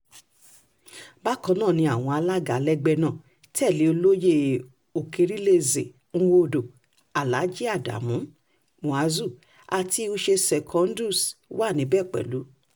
bákan náà ni àwọn alága lẹ́gbẹ́ náà tẹ́lẹ̀ olóyè okeerilieze nwodo aláàjì adamu muazu àti uche secondus wà níbẹ̀ pẹ̀lú